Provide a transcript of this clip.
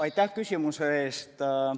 Aitäh küsimuse eest!